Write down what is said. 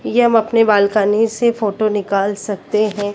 यह हम अपने बालकनी से फोटो निकाल सकते हैं।